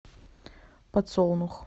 подсолнух